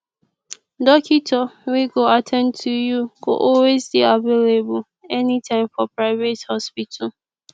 dokitor wey go at ten d to yu go always dey available anytme for private hospital